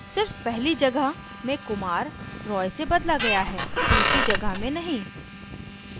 सिर्फ पहली जगह में kumar roy से बदला गया है दूसरी जगह में नहीं